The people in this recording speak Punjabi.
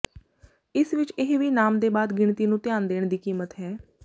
ਇਸ ਵਿਚ ਇਹ ਵੀ ਨਾਮ ਦੇ ਬਾਅਦ ਗਿਣਤੀ ਨੂੰ ਧਿਆਨ ਦੇਣ ਦੀ ਕੀਮਤ ਹੈ